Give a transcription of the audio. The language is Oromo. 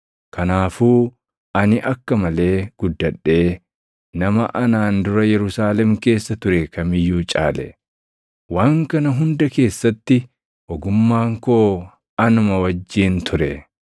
Kanaafuu ani akka malee guddadhee nama anaan dura Yerusaalem keessa ture kam iyyuu caale. Waan kana hunda keessatti ogummaan koo anuma wajjin ture.